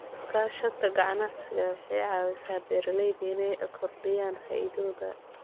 Iskaashatada ganacsigu waxay ka caawisaa beeralayda inay kordhiyaan faa'iidadooda.